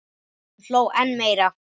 Hún hló enn meira.